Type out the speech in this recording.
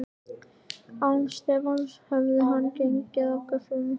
Án Stefáns hefði hann gengið af göflunum.